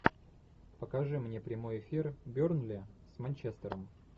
покажи мне прямой эфир бернли с манчестером